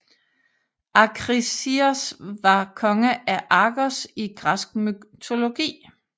Akrisios var konge af Argos i græsk mytologi